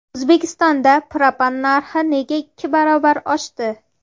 O‘zbekistonda propan narxi nega ikki barobar oshdi?.